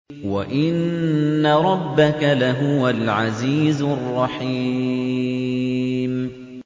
وَإِنَّ رَبَّكَ لَهُوَ الْعَزِيزُ الرَّحِيمُ